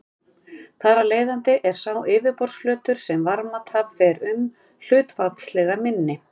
Þar af leiðandi er sá yfirborðsflötur sem varmatap fer um hlutfallslega minni.